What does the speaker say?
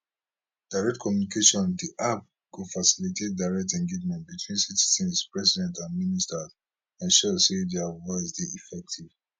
direct communication di app go facilitates direct engagement between citizens president and ministers ensure say dia voices dey effective